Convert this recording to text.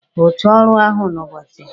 Rụchaa ọrụ ahụ n'ụbọchị a!